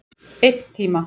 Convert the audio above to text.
Einn tíma.